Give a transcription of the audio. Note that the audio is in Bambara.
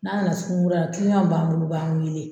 N'a nana suguni kura la b'an bolo u b'an wele